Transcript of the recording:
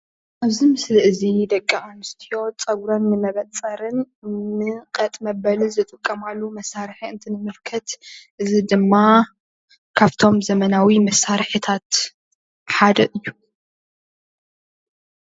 ኣብዚ ምስሊ እዚ ደቂ ኣንስትዮ ፀጉረን ንመበፀርን ንቀጥ መበሊ ዝጥቀማሉ መሳርሒ እንትንምልከት እዚ ድማ ካብቶም ብዘበናዊ መሳርሕታት ሓደ እዩ፡፡